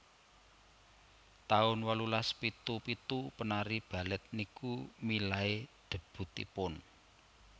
taun wolulas pitu pitu penari Balet niku milai debutipun